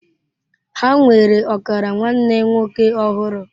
Ha nwere ọkara nwanne nwoke ọhụrụ.